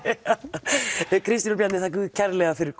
Kristín og Bjarni þakka ykkur kærlega fyrir